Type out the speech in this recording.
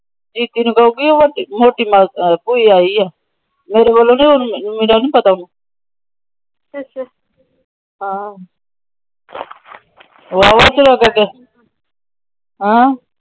ਜੀਜੇ ਨੂੰ ਕਹੁ ਗਈ ਭੁਇ ਆਇ ਏ। ਮੇਰੇ ਵਲੋਂ ਨਹੀਂ। ਮੇਰਾ ਨਹੀਂ ਪਤਾ ਉਹਨੂੰ।